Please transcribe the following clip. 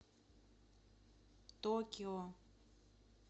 токио